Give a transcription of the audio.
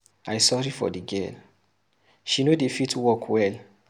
I sorry for the girl, she no dey fit walk well.